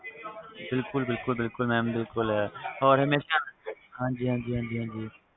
ਬਿਲਕੁਲ ਬਿਲਕੁਲ mam ਬਿਲਕੁਲ ਹੋਰ ਹਾਂ ਜੀ ਹਾਂ ਜੀ